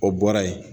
O bɔra yen